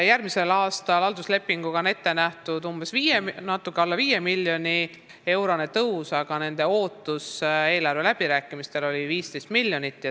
Järgmiseks aastaks on halduslepinguga ette nähtud natuke alla 5 miljoni eurone tõus, aga nende ootus eelarve läbirääkimistel oli 15 miljonit.